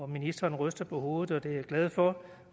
ministeren ryster på hovedet og det er jeg glad for